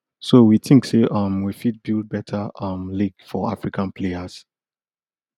so we tink say um we fit build beta um league for african players